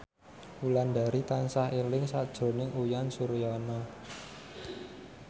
Wulandari tansah eling sakjroning Uyan Suryana